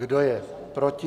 Kdo je proti?